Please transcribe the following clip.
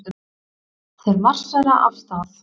Þeir marsera af stað.